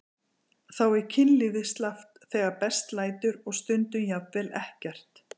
Þá er kynlífið slappt þegar best lætur og stundum jafnvel ekkert.